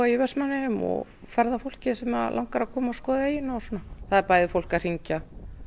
Vestmannaeyjum og ferðafólkið sem langar að koma og skoða eyjuna og svona það er bæði fólk að hringja